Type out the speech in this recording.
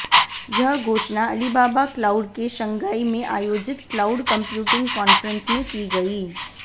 यह घोषणा Alibaba cloud के शंघाई में आयोजित क्लाउड कम्प्यूटिंग कांफ्रेंस में की गई